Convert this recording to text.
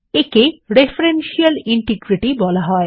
একে referential integrity বলা হয়